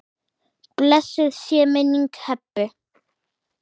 Blessuð sé minning Hebu.